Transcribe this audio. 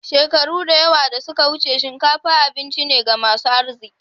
Shekaru da yawa da suka wuce, shinkafa abinci ne ga masu arziki.